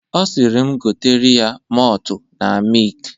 Ọ sịrị m gotere ya motu na mik.